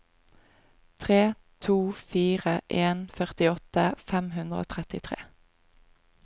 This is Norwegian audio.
tre to fire en førtiåtte fem hundre og trettitre